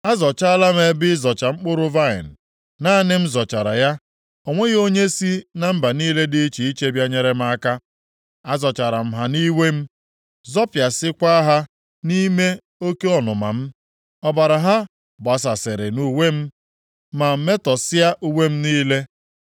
“Azọchaala m ebe ịzọcha mkpụrụ vaịnị, naanị m zọchara ya; o nweghị onye sị na mba niile dị iche iche bịa nyere m aka. Azọchara m ha nʼiwe m, zọpịasịakwa ha nʼime oke ọnụma m; ọbara ha gbasasịrị nʼuwe m, ma metọsịa uwe m niile.